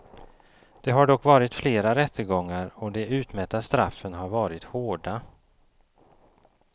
Det har dock varit flera rättegångar och de utmätta straffen har varit hårda.